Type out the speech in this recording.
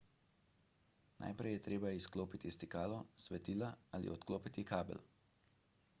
najprej je treba izklopiti stikalo svetila ali odklopiti kabel